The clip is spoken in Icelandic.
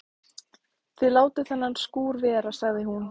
Þið látið þennan skúr vera sagði hún.